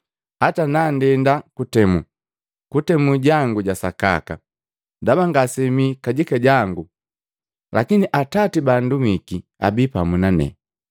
Hata nandenda kutemu, kutemu jangu ja sakaka, ndaba ngase mii kajika jangu lakini Atati baandumiki abi pamu nane.